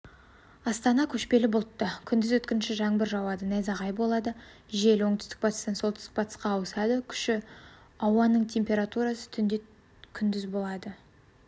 астана көшпелі бұлтты күндіз өткінші жаңбыр жауады найзағай болады жел оңтүстік-батыстан солтүстік-батысқа ауысады күші ауаның температурасы түнде күндіз болады